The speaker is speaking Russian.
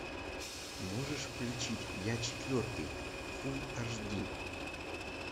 можешь включить я четвертый фулл аш ди